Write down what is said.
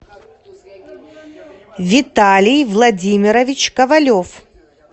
виталий владимирович ковалев